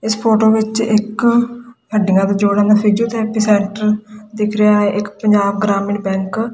ਇੱਸ ਫ਼ੋਟੋ ਵਿੱਚ ਇੱਕ ਹੱਡੀਆਂ ਦਾ ਜੋੜਨ ਦਾ ਫਿਜ਼ੀਓਥੈਰਪੀ ਸੈਂਟਰ ਦਿੱਖ ਰਿਹਾ ਹੈ ਇੱਕ ਪੰਜਾਬ ਗ੍ਰਹਮੀਣ ਬੈਂਕ --